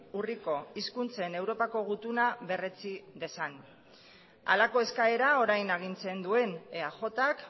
urriko hizkuntzen europako gutuna berretsi dezan halako eskaera orain agintzen duen eajk